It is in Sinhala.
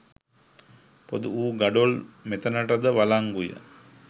පොදු වූ ගඩොල් මෙතනටද වලංගුය.